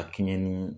A kɛɲɛ ni